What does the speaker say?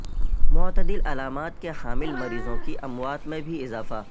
معتدل علامات کے حامل مریضوں کی اموات میں بھی اضافہ